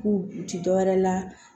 K'u u ti dɔwɛrɛ la